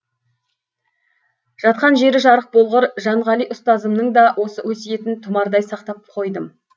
жатқан жері жарық болғыр жанғали ұстазымның да осы өсиетін тұмардай сақтап қойдым